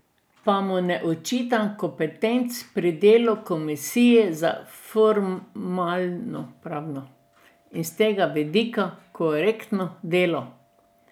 Pa mu ne očitam kompetenc pri delu komisije za formalnopravno in s tega vidika korektno delo.